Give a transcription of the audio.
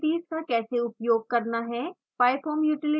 pyfoam utilites का कैसे उपयोग करना है